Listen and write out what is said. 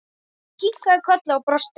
Ég kinkaði kolli og brosti.